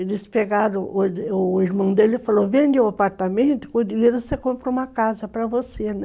Eles pegaram o irmão dele e falaram, vende o apartamento, com o dinheiro você compra uma casa para você, né?